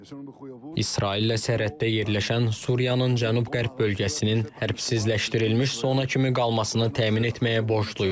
İsraillə sərhəddə yerləşən Suriyanın cənub-qərb bölgəsinin hərbsizləşdirilmiş zona kimi qalmasını təmin etməyə borcluyuq.